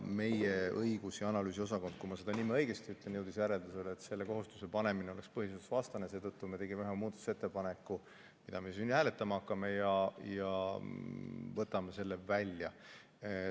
Meie õigus- ja analüüsiosakond, kui ma nüüd õigesti ütlen, jõudis järeldusele, et selle kohustuse panemine oleks põhiseadusvastane, ja seetõttu me tegime ühe muudatusettepaneku, mida me siin hääletama hakkame, ja võtame selle välja.